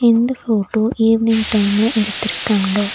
இந்த photo evening டைம்ல எடுத்துருக்காங்க.